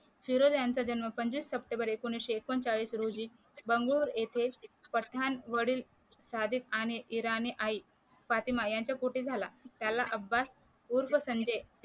फिरोज यांचा जन्म पंचवीस सप्टेंबर एकोणीशे एकोणचाळीस रोजी बंगूर येथे पठाण वडील सादिक आणि इराणी आई फातिमा यांच्या पोटी झाला त्याला अब्बास उर्फ संजय